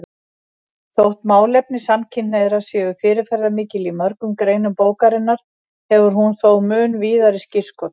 Þótt málefni samkynhneigðra séu fyrirferðarmikil í mörgum greinum bókarinnar hefur hún þó mun víðari skírskotun.